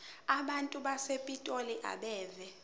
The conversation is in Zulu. abantu basepitoli abeve